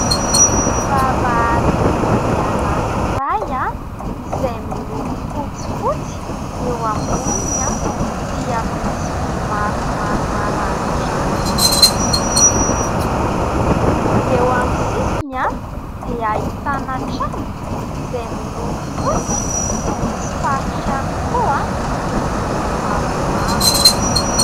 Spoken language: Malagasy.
Vavahady lehibe anakiray izay miloko fotsifotsy, eo ambony dia misy vy maromaro maranindranitra miloko volom-bolamena ; eo amin'ny sisiny dia ahitana trano izay miloko fotsy misy faritra ihany koa miloko mavomavo.